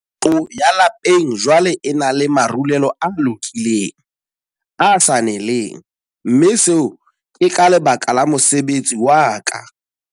Ntlo ya lapeng jwale e na le marulelo a lokileng, a sa neleng, mme seo ke ka lebaka la mosebetsi wa ka.